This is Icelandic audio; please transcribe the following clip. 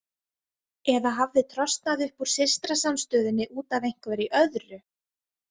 Eða hafði trosnað upp úr systrasamstöðunni út af einhverju öðru?